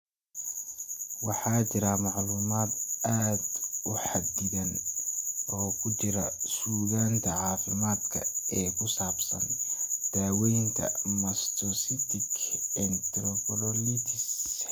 Waxaa jira macluumaad aad u xaddidan oo ku jira suugaanta caafimaadka ee ku saabsan daaweynta mastocytic enterocolitis.